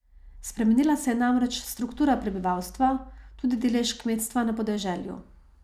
Spremenila se je namreč struktura prebivalstva, tudi delež kmetstva na podeželju.